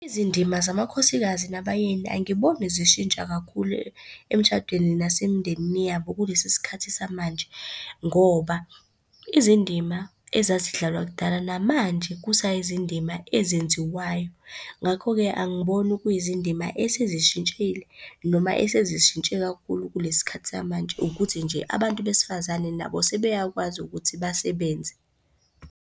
Izindima zamakhosikazi nabayeni angiboni zishintsha kakhulu emshadweni nasemndenini yabo kulesi sikhathi samanje, ngoba izindima ezazidlalwa kudala namanje kusayizindima ezenziwayo. Ngakho-ke, angiboni kuyizindima esezishintshile noma esezishintshe kakhulu kulesi khathi samanje, ukuthi nje abantu besifazane nabo sebeyakwazi ukuthi basebenze.